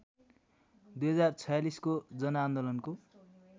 २०४६ को जनआन्दोलनको